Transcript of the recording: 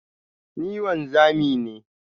Ni wanzami ne.